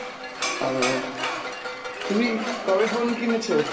ও ,তুমি কবে phone কিনেছো?